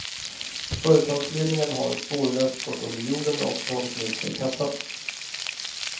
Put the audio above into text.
Företagsledningen har spårlöst gått under jorden och tagit med sig kassan.